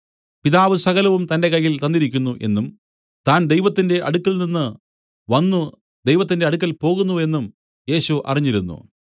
പിതാവ് സകലവും തന്റെ കയ്യിൽ തന്നിരിക്കുന്നു എന്നും താൻ ദൈവത്തിന്റെ അടുക്കൽനിന്ന് വന്നു ദൈവത്തിന്റെ അടുക്കൽ പോകുന്നു എന്നും യേശു അറിഞ്ഞിരുന്നു